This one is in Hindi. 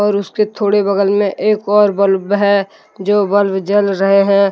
और उसके थोड़े बगल में एक और बल्ब है जो बल्ब जल रहे है।